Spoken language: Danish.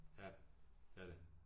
Ja det er det